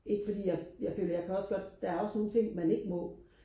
ikke fordi jeg føler jeg føler jeg kan også godt der er også nogle ting man ikke må